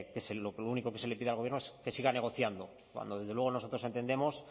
es que lo único que se le pide al gobierno es que siga negociando cuando desde luego nosotros entendemos